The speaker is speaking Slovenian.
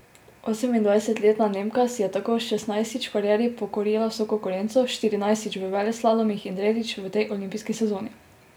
Osemindvajsetletna Nemka si je tako šestnajstič v karieri pokorila vso konkurenco, štirinajstič v veleslalomih in tretjič v tej olimpijski sezoni.